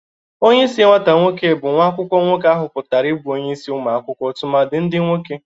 Onyeisi nwata nwoke bụ nwa akwụkwọ nwoke ahụpụtara ibụ onyeisi ụmụ akwụkwọ tụmadị ndị nwoke.